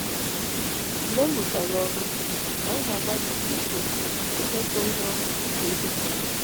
Mgbe m rụchara ọrụ, anyị na - agbalịsi ike imekọ ihe ọnụ dị ka ezinụlọ.